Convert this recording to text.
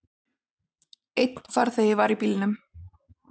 Einn farþegi var í bílnum.